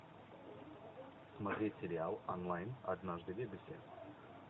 смотреть сериал онлайн однажды в вегасе